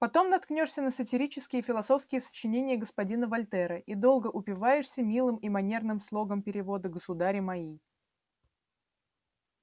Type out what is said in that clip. потом наткнёшься на сатирические и философские сочинения господина вольтера и долго упиваешься милым и манерным слогом перевода государи мои